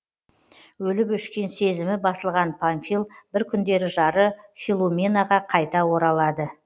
өліп өшкен сезімі басылған памфил бір күндері жары филуменаға қайта оралады